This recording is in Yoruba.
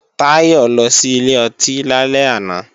Táyọ̀ lọ sí ilé ọtí lálẹ́ àná